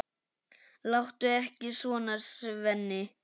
Láttu ekki svona, Svenni.